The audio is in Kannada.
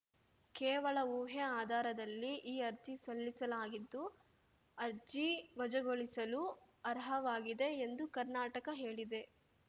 ಕೇವಲ ಊಹೆ ಆಧಾರದಲ್ಲಿ ಈ ಅರ್ಜಿ ಸಲ್ಲಿಸಲಾಗಿದ್ದು ಅರ್ಜಿ ವಜಗೊಳಿಸಲು ಅರ್ಹವಾಗಿದೆ ಎಂದು ಕರ್ನಾಟಕ ಹೇಳಿದೆ